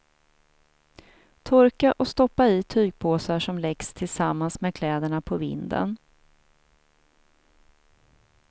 Torka och stoppa i tygpåsar som läggs tillsammans med kläderna på vinden.